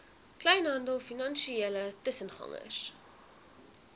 kleinhandel finansiële tussengangers